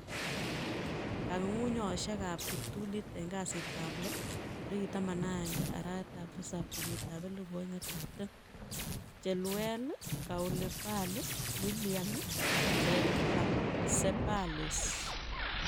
Kong'ung'unyosiek ab kiptulit en kasitab lo 11/07/2020: Chilwell, Koulibaly, Willian, Ceballos